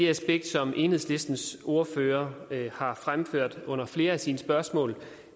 aspekt som enhedslistens ordfører har fremført under flere af sine spørgsmål